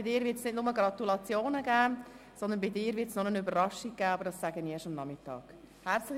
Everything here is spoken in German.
in seinem Fall wird es nicht nur Gratulationen geben, sondern noch eine Überraschung, die ich aber erst am Nachmittag verraten werde.